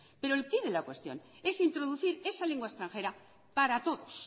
pero el quiz de la cuestión es introducir esa lengua extranjera